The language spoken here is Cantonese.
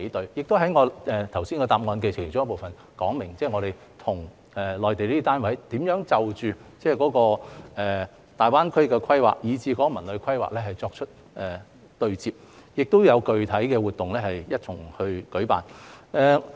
我亦已在剛才主體答覆的其中一個部分說明，我們與內地單位如何就着大灣區的規劃及《文旅規劃》作出對接，亦會一同舉辦具體的活動。